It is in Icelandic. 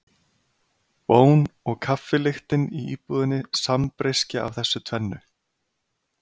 Bón og kaffi lyktin í íbúðinni sambreyskja af þessu tvennu.